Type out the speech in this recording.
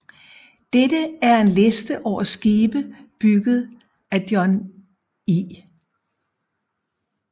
Dette er en liste over skibe bygget af John I